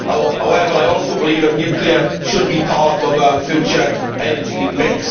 However, I also believe that nuclear power should be part of our future energy mix.